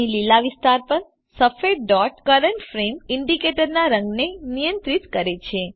અહીં લીલા વિસ્તાર પર સફેદ ડોટ કરન્ટ ફ્રેમ ઇન્ડિકેટર ના રંગને નિયંત્રિત કરે છે